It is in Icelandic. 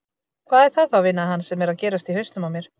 Hvað er það þá veinaði hann, sem er að gerast í hausnum á mér?